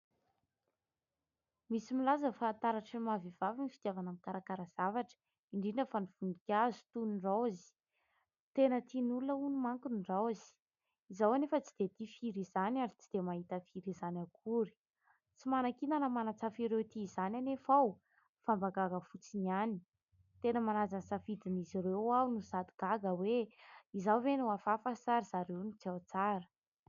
Misy milaza fa taratra ireo maha vehivavy ny fitiavana mikarakara zavatra indrindra fa ny voninkazo toy ny raozy. Tena tian' ny olona hono mantsy ny raozy, izaho anefa tsy dia tia firy izany , ary tsy dia mahita firy izany akory . Tsy manakiana na manatsafa ireo tia izany anefa aho fa mba gaga fotsiny ihany .Tena manaja ny safidin'izy ireo aho no sady gaga hoe : izaho ve no hafahafa sa ry zareo ny tsy ao tsara.